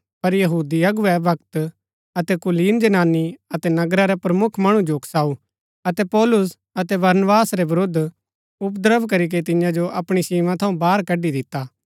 पर यहूदी अगुवै भक्त अतै कुलीन जनानी अतै नगरा रै प्रमुख मणु जो उकसाऊ अतै पौलुस अतै बरनबास रै विरूद्ध उपद्रव करीके तियां जो अपणी सीमा थऊँ बाहर कड़ी दिता